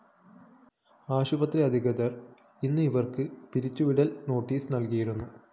ആശുപത്രി അധികൃതര്‍ ഇന്ന് ഇവര്‍ക്ക് പിരിച്ചുവിടല്‍ നോട്ടീസ്‌ നല്‍കിയിരുന്നു